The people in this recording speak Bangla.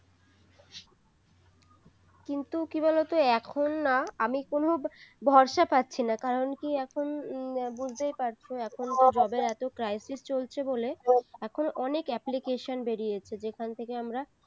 কিন্তু কি বলতো এখন না আমি কোন ভরসা পাচ্ছি না কারণ কি এখন বুঝতেই পার এখন তো job এর এতো crisis চলছে বলে এখন অনেক application বেরিয়েছে যেখান থেকে আমরা